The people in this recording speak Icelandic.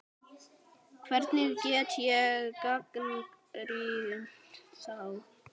Hvernig get ég gagnrýnt þá?